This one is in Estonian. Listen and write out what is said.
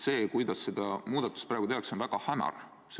See, kuidas seda muudatust praegu tehakse, on väga hämar.